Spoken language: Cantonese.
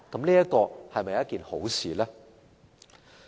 這是否一件好事呢？